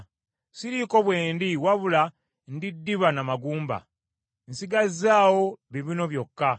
Siriiko bwe ndi wabula ndi ddiba na magumba: nsigazzaawo bibuno byokka.